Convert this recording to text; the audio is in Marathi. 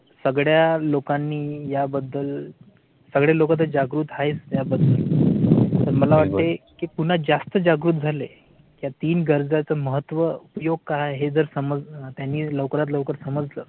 सगड्या लोकांनी याबद्दल सगळे लोक जागृत आहेच त्या बद्दल पण मला ते कि पुन्हा जास्त जागृत झाले. ह्या तीन गरजा चं महत्व उपयोग काय आहे. जर समज त्यांनी लवकरात लवकर समजलं